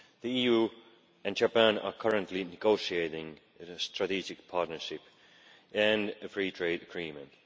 The EU and Japan are currently negotiating a strategic partnership and a free trade agreement.